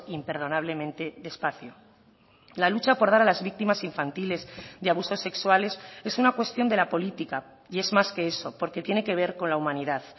imperdonablemente despacio la lucha por dar a las víctimas infantiles de abusos sexuales es una cuestión de la política y es más que eso porque tiene que ver con la humanidad